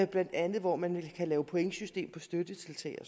blandt andet hvor man kan lave pointsystem for støttetiltag og